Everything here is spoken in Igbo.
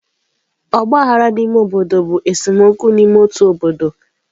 Ọgba aghara n'ime obodo bụ esemokwu n'ime otu obodo.